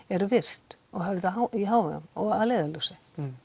eru virt og höfð í hávegum og að leiðarljósi